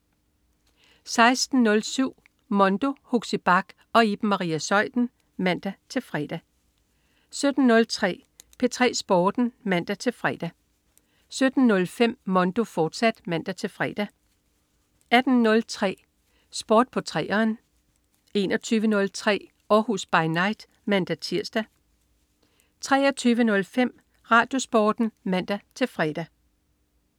16.07 Mondo. Huxi Bach og Iben Maria Zeuthen (man-fre) 17.03 P3 Sporten (man-fre) 17.05 Mondo, fortsat (man-fre) 18.03 Sport på 3'eren 21.03 Århus By Night (man-tirs) 23.05 RadioSporten (man-fre)